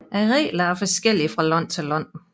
Reglerne er forskellige fra land til land